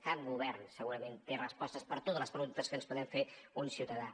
cap govern segurament té respostes per a totes les preguntes que es pot fer un ciutadà